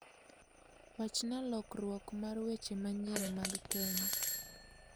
Wachna lokruok mar weche manyien mag kenya